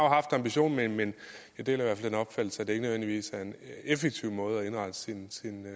ambitionen men jeg deler den opfattelse at det ikke nødvendigvis er en effektiv måde at indrette sin